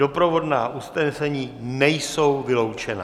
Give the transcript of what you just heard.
Doprovodná usnesení nejsou vyloučena.